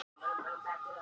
Hún veit hug minn.